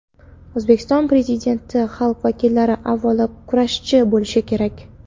O‘zbekiston Prezidenti: Xalq vakillari avvalo kurashchi bo‘lishi kerak.